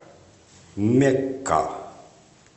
мекка